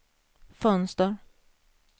fönster